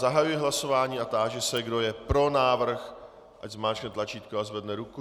Zahajuji hlasování a táži se, kdo je pro návrh, ať zmáčkne tlačítko a zvedne ruku.